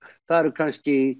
það eru kannski